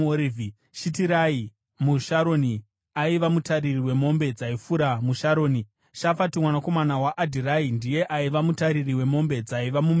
Shitirai muSharoni, aiva mutariri wemombe dzaifura muSharoni. Shafati mwanakomana waAdhirai ndiye aiva mutariri wemombe dzaiva mumipata.